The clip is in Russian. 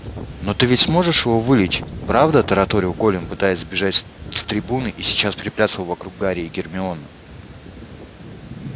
но ты ведь сможешь его вылечить правда тараторил колин пытаясь сбежать с трибуны и сейчас приплясывал вокруг гарри и гермионы